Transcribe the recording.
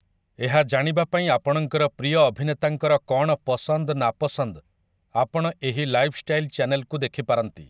ଏହା ଜାଣିବାପାଇଁ ଆପଣଙ୍କର ପ୍ରିୟ ଅଭିନେତାଙ୍କର କ'ଣ ପସନ୍ଦ ନାପସନ୍ଦ ଆପଣ ଏହି ଲାଇଫଷ୍ଟାଇଲ୍ ଚ୍ୟାନେଲକୁ ଦେଖିପାରନ୍ତି ।